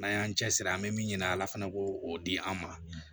N'an y'an cɛsiri an bɛ min ɲini ala fɛnɛ ko o di an ma